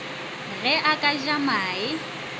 ge a ka ja mae